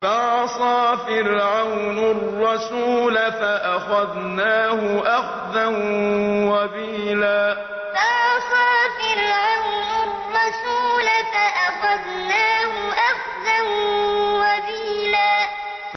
فَعَصَىٰ فِرْعَوْنُ الرَّسُولَ فَأَخَذْنَاهُ أَخْذًا وَبِيلًا فَعَصَىٰ فِرْعَوْنُ الرَّسُولَ فَأَخَذْنَاهُ أَخْذًا وَبِيلًا